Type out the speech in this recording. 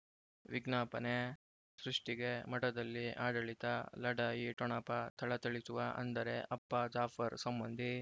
ವಿಜ್ಞಾಪನೆ ಸೃಷ್ಟಿಗೆ ಮಠದಲ್ಲಿ ಆಡಳಿತ ಲಢಾಯಿ ಠೊಣಪ ಥಳಥಳಿಸುವ ಅಂದರೆ ಅಪ್ಪ ಜಾಫರ್ ಸಂಬಂಧಿ